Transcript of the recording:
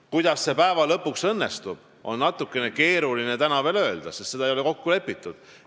Kuidas see lõpuks õnnestub, seda on natukene keeruline täna öelda, sest seda ei ole kokku lepitud.